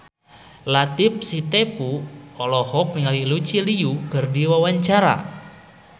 Latief Sitepu olohok ningali Lucy Liu keur diwawancara